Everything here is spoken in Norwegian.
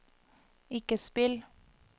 ikke spill